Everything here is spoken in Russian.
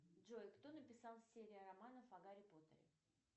джой кто написал серию романов о гарри поттере